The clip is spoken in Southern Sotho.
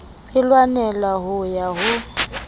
e lwanela ho ya ho